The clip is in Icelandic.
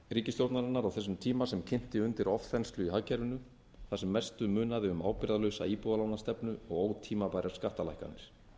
ríkisstjórnarinnar á þessum tíma sem kynti undir ofþenslu í hagkerfinu þar sem mestu munaði um ábyrgðarlausa íbúðalánastefnu og ótímabærar skattalækkanir